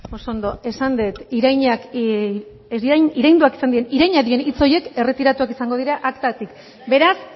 oso ondo esan dut irainak diren hitz horiek erretiratuak izango dira aktatik beraz